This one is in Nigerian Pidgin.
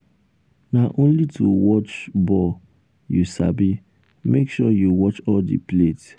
na only to watch ball you sabi make sure you watch all the plate.